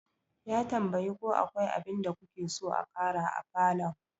Ya tambayi ko akwai abinda kuke so a ƙara a falon.